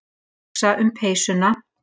Hugsa um peysuna.